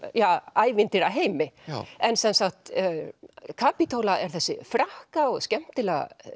ævintýraheimi Kapítóla er þessi frakka og skemmtilega